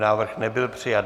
Návrh nebyl přijat.